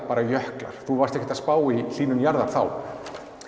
bara jöklar þú varst ekkert að spá í hlýnun jarðar þá